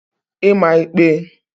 ịma ịkpe